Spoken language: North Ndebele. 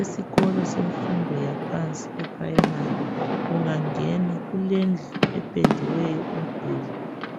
Esikolo semfundo yaphansi, eprimary, ungangena, kulendlu, ependiweyo umduli,